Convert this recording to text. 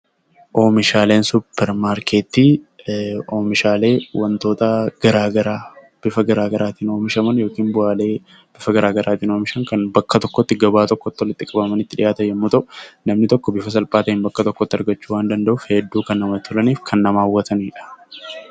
Oomishaaleen suupparmaarkeetii oomishaalee wantoota garaagaraa bifa garaagaraatiin oomishan kan bakka tokkotti gabaa tokkotti walitti qabamanii dhiyaatan yommuu ta'u, namni tokko bifa salphaan bakka tokkotti argachuu waan danda'uuf hedduu kan namatti tolanii fi kan nama hawwatanidha.